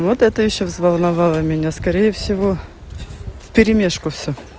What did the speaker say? вот это ещё взволновала меня скорее всего вперемежку всё